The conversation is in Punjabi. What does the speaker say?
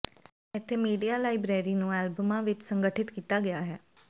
ਇੱਥੇ ਮੀਡੀਆ ਲਾਇਬ੍ਰੇਰੀ ਨੂੰ ਐਲਬਮਾਂ ਵਿੱਚ ਸੰਗਠਿਤ ਕੀਤਾ ਗਿਆ ਹੈ